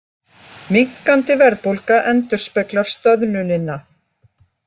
Minnkandi verðbólga endurspeglar stöðnunina